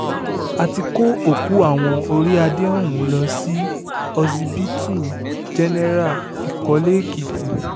a ti kó òkú àwọn orí adé ọ̀hún lọ sí ọsibítù jẹ́nẹ́ra ìkọ́lé-èkìtì